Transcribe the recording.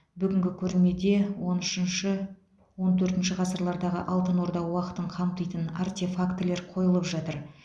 бүгінгі көрмеде он үшінші он төртінші ғасырлардағы алтын орда уақытын қамтитын артефактілер қойылып жатыр